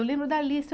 Eu lembro da lista.